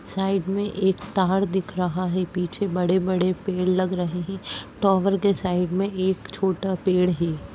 Side में एक तार दिख रहा है। पीछे बड़े बड़े पेड़ लग रहे हैं। टॉवर के साइड में एक छोटा पेड़ हे ।